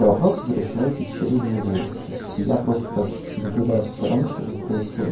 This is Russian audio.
вопрос в решаете через него то есть я просто так наблюдаю со стороны что тут происходит